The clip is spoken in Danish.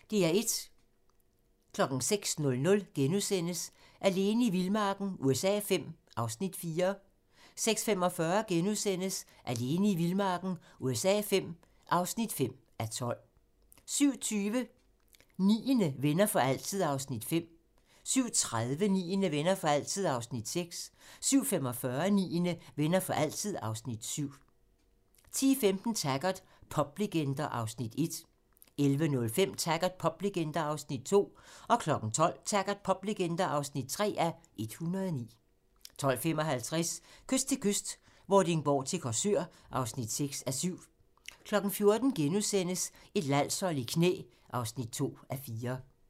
06:00: Alene i vildmarken USA V (4:12)* 06:45: Alene i vildmarken USA V (5:12)* 07:20: Niende - Venner for altid (Afs. 5) 07:30: Niende - Venner for altid (Afs. 6) 07:45: Niende - Venner for altid (Afs. 7) 10:15: Taggart: Poplegender (1:109) 11:05: Taggart: Poplegender (2:109) 12:00: Taggart: Poplegender (3:109) 12:55: Kyst til kyst - Vordingborg til Korsør (6:7) 14:00: Et landshold i knæ (2:4)*